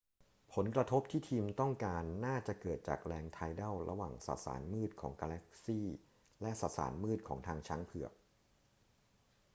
ผลกระทบที่ทีมต้องการน่าจะเกิดจากแรงไทดัลระหว่างสสารมืดของกาแล็กซีและสสารมืดของทางช้างเผือก